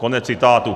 Konec citátu.